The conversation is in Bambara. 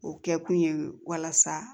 O kɛ kun ye walasa